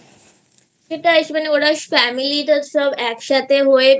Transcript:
সেটাই মানে Family সব একসাথে হয়ে